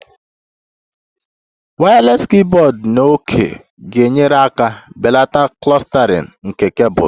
Wireless keyboard na òké ga-enyere aka belata clustering nke cables